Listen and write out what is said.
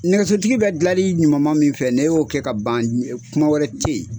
Nɛgɛso tigi bɛ dilanli ɲuman ma min fɛ n'e ko k'e ka ban kuma wɛrɛ tɛ ye